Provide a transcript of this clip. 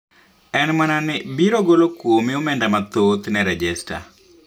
En mana ni biro golo kuomi omenda mathoth ne rejesta